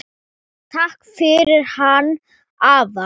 Takk fyrir hann afa.